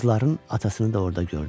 Qızların atasını da orada gördü.